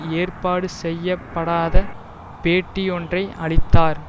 ஏற்பாடு செய்ய படாத பேட்டியொன்றை அளித்தார்